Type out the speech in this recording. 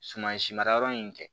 Suman si mara yɔrɔ in kɛ